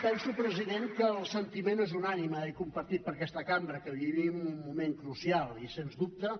penso president que el sentiment és unànime i compartit per aquesta cambra que vivim un moment crucial i sens dubte